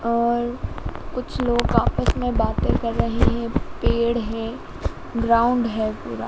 और कुछ लोग आपस में बातें कर रहे हैं पेड़ है ग्राउंड है पूरा--